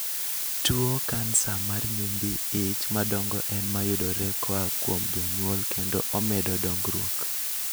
Tuo kansa mar nyimbi ich madongo en mayudore koa kuom jonyuol kendo omedo dongruok